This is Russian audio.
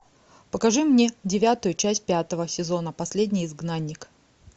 покажи мне девятую часть пятого сезона последний изгнанник